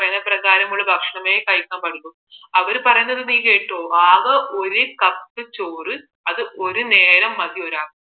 അവർ പറയുന്നത് നീ കേട്ടോ ആകെ ഒരു cup ചോറ് അത് ഒരു നേരം മതിയോരാൾക്ക്